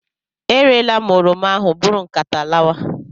E reela m oroma ahụ, bụrụ nkata lawa!